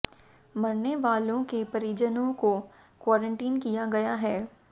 मरने वालों के परिजनों को क्वारंटीन किया गया है